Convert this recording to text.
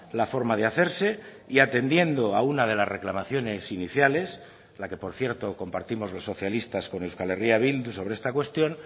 la forma de hacerse y atendiendo a una de las reclamaciones iniciales la que por cierto compartimos los socialistas con euskal herria bildu sobre esta cuestión